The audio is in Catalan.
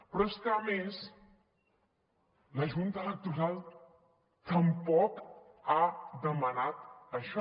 però és que a més la junta electoral tampoc ha demanat això